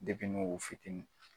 fitinin